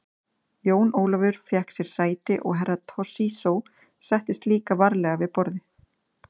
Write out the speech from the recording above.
Jón Ólafur fékk sér sæti og Herra Toshizo settist líka varlega við borðið.